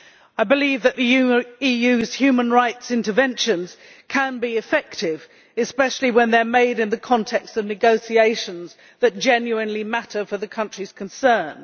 I believe that the EU's human rights interventions can be effective, especially when they are made in the context of negotiations that genuinely matter for the countries concerned.